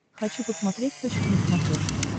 хочу посмотреть точка на смотрешке